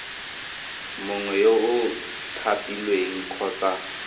mongwe yo o thapilweng kgotsa